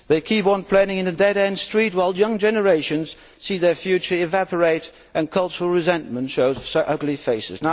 They keep on planning in a dead end street while young generations see their future evaporate and cultural resentment shows its ugly face.